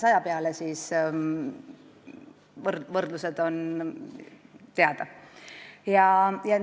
Ja mõelge korraks võrdluseks ka selle 500 peale.